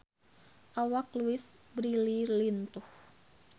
Awak Louise Brealey lintuh